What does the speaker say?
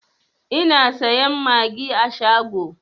Ina sayan magi a shago